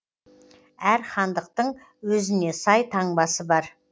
әр хандықтың өзіне сай таңбасы бар